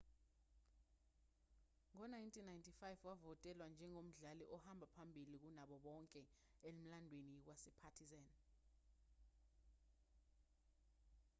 ngo-1995 wavotelwa njengomdlali ohamba phambili kunabo bonke emlandweni wasepartizan